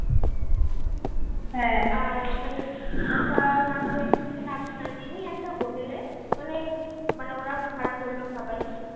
আর ওখানে একটা একটা hotel এ মানে মানে ওরা ভাড়া করলো সবাই